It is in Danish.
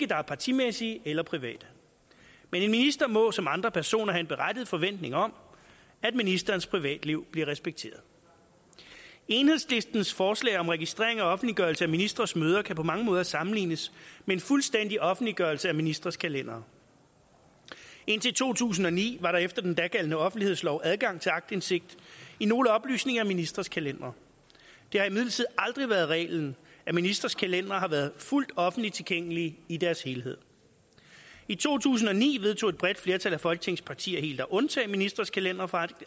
der er partimæssige eller private men en minister må som andre personer have en berettiget forventning om at ministerens privatliv bliver respekteret enhedslistens forslag om registrering og offentliggørelse af ministres møder kan på mange måder sammenlignes med en fuldstændig offentliggørelse af ministres kalendere indtil to tusind og ni var der efter den dagældende offentlighedslov adgang til aktindsigt i nogle oplysninger i ministres kalendere det har imidlertid aldrig været reglen at ministres kalendere har været fuldt offentligt tilgængelige i deres helhed i to tusind og ni vedtog et bredt flertal af folketingets partier helt at undtage ministres kalendere fra